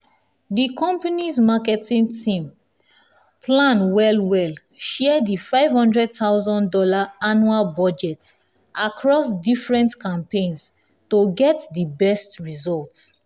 the company's marketing team plan well well share the five hundred thousand dollars annual budget across different campaigns to get the best results.